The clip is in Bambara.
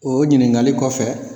O ɲinikali kɔfɛ